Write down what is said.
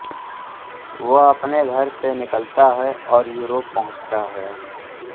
वह अपने घर से निकलता है और यूरोप पहुंचता है